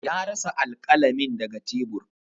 Ya rasa alƙalamin daga tebur.